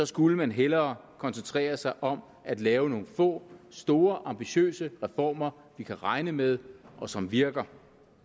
skulle man hellere koncentrere sig om at lave nogle få store ambitiøse reformer vi kan regne med og som virker